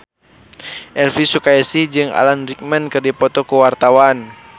Elvy Sukaesih jeung Alan Rickman keur dipoto ku wartawan